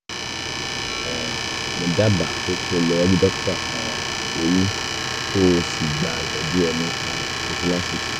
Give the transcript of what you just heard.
um mo dábàá pé kó o lọ rí dókítà um eyín kó o sì gba ìtọ́jú ẹnu um prophylaxis